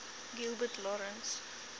gilbert lawrence